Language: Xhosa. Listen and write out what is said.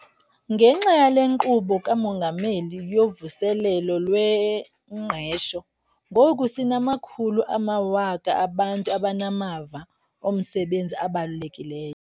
Ngenxa yale Nkqubo kaMongameli yoVuselelo lweNgqesho, ngoku sinamakhulu amawaka abantu abanamava omsebenzi abalulekileyo.